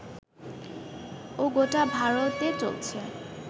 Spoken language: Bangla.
ও গোটা ভারতে চলছে